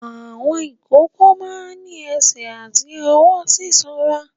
Àwọn ìkókó máa ń ní ẹsẹ̀ àti ọwọ́ sísanra.